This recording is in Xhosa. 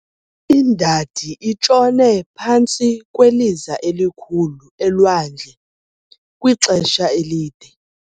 Indadi itshone phantsi kweliza elikhulu elwandle kwixesha elide.